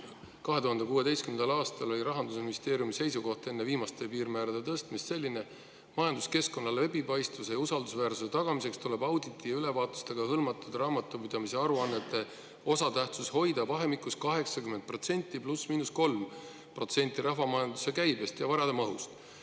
2016. aastal oli Rahandusministeeriumi seisukoht enne viimaste piirmäärade tõstmist selline, et majanduskeskkonna läbipaistvuse ja usaldusväärsuse tagamiseks tuleb auditite ja ülevaatustega hõlmatud raamatupidamise aruannete osatähtsus hoida vahemikus 80% +/–3% rahvamajanduse käibest ja varade mahust.